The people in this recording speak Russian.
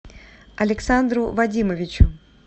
александру вадимовичу